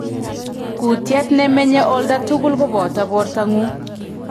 Kutiet nemenye oldatugul koboto bortangung